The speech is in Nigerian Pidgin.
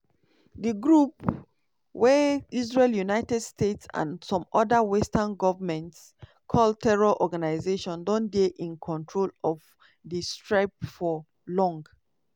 di group – wey israel united states and some oda western goments call terror organisation – don dey in control of di strip for long.